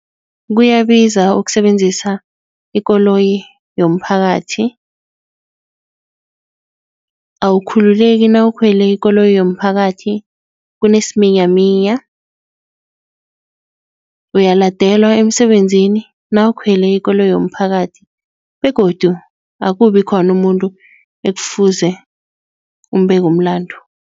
Kuyabiza ukusebenzisa ikoloyi yomphakathi. Awukhululeki nawukhwela ikoloyi yomphakathi kunesiminyaminya. Uyaladelwa emisebenzini nawukhwele ikoloyi yomphakathi begodu akubi khona umuntu ekufuze umbeke umlandu.